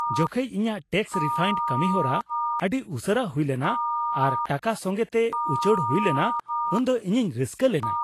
ᱡᱚᱠᱷᱮᱡ ᱤᱧᱟᱹᱜ tax refund ᱠᱟᱹᱢᱤᱦᱚᱨᱟ ᱟᱹᱰᱤ ᱩᱥᱟᱹᱨᱟ ᱦᱩᱭ ᱮᱱᱟ, ᱟᱨ ᱴᱟᱠᱟ ᱥᱚᱸᱜᱮᱛᱮ ᱩᱪᱟᱹᱲ ᱦᱩᱭ ᱞᱮᱱᱟ ᱩᱱᱫᱚ ᱤᱧᱤᱧ ᱨᱟᱹᱥᱠᱟᱹ ᱞᱮᱱᱟ ᱾